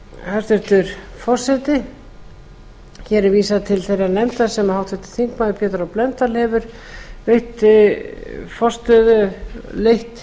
hæstvirtur forseti hér er vísað til þeirrar nefndar sem háttvirtur pétur h blöndal hefur leitt